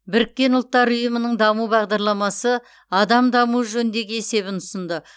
біріккен ұлттар ұйымының даму бағдарламасы адам дамуы жөніндегі есебін ұсынды